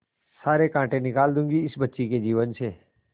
सारे कांटा निकाल दूंगी इस बच्ची के जीवन से